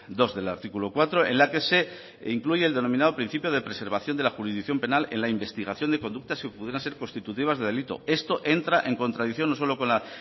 dos del artículo cuatro en la que se incluye el denominado principio de preservación de la jurisdicción penal en la investigación de conductas que pudieran ser constitutivas de delito esto entra en contradicción no solo con la